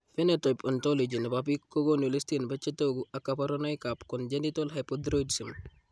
Phenotype ontology nebo biik kokoonu listini bo chetogu ak kaborunoik ab congenital hypothyroidsm